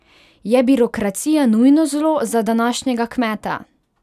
Je birokracija nujno zlo za današnjega kmeta?